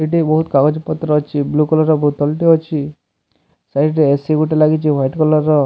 ଏଠି ବୋହୁତ୍ କାଗଜ୍ ପତ୍ର ଅଛି ବ୍ଲୁ କଲର୍ ର ବୋତଲ୍ ଟେ ଅଛି ସାଇଡ୍ ରେ ଏ_ସି ଗୋଟେ ଲାଗିଚି ହ୍ଵାଇଟ୍ କଲର୍ ର --